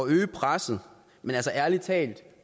øge presset men altså ærlig talt